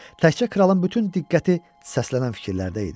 Təkcə kralın bütün diqqəti səslənən fikirlərdə idi.